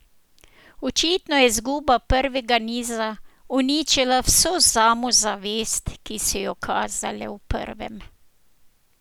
Očitno je izguba prvega niza uničila vso samozavest, ki so jo kazale v prvem.